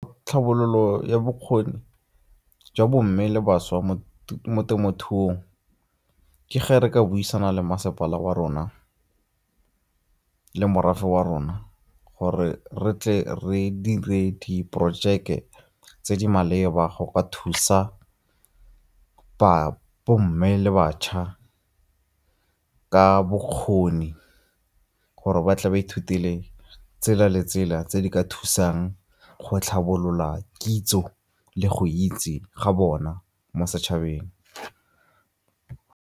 Tlhabololo ya bokgoni jwa bo mme le bašwa mo temothuong ke ge re ka buisana le masepala wa rona le morafe wa rona gore re tle re dire di porojeke tse di maleba go ka thusa bo mme le bašwa ka bokgoni gore ba tle ba ithutele tsela le tsela tse di ka thusang go tlhabolola kitso le go itse ga bona mo setšhabeng.